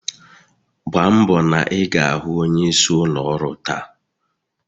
Gbambo na ị ga-ahụ onyeisi ụlọ ọrụ taa!